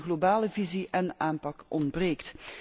Een globale visie en aanpak ontbreekt.